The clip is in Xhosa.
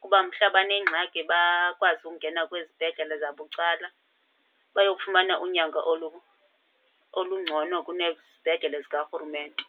kuba mhla banengxaki bakwazi ungena kwizibhedlele zabucala bayokufumana unyango olungcono kunezibhedlele zikarhurumente.